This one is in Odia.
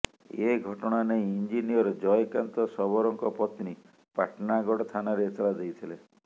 ଏ ଘଟଣା ନେଇ ଇଞ୍ଜିନିୟର ଜୟକାନ୍ତ ଶବରଙ୍କ ପତ୍ନୀ ପାଟଣାଗଡ଼ ଥାନାରେ ଏତଲା ଦେଇଥିଲେ